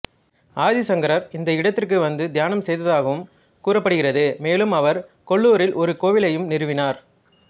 ஆதி சங்கரர் இந்த இடத்திற்கு வநது தியானம் செய்ததாகவும் கூறப்படுகிறது மேலும் அவர் கொல்லூரில் ஒரு கோவிலையும் நிறுவினார்